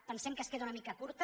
pensem que és una mica curta